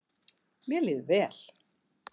Mér líður vel